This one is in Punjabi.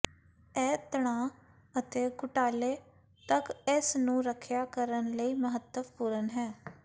ਇਹ ਤਣਾਅ ਅਤੇ ਘੁਟਾਲੇ ਤੱਕ ਇਸ ਨੂੰ ਰੱਖਿਆ ਕਰਨ ਲਈ ਮਹੱਤਵਪੂਰਨ ਹੈ